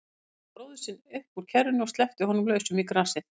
Tók bróður sinn upp úr kerrunni og sleppti honum lausum í grasið.